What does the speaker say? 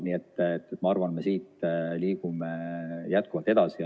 Nii et ma arvan, et me liigume jätkuvalt edasi.